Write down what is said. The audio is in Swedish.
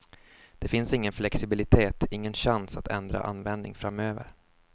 Det finns ingen flexibilitet, ingen chans att ändra användning framöver.